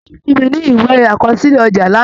Ó fún mi ní ìwé àkọsílẹ̀ ọjà lánàá